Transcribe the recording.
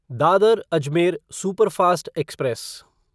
Dadar Ajmer superfast express